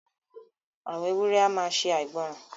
Àwọn èwùré à maa ṣè àìgbòran.